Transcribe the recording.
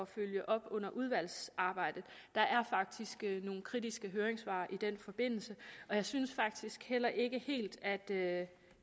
følge op under udvalgsarbejdet der er faktisk nogle kritiske høringssvar i den forbindelse og jeg synes faktisk heller ikke helt at det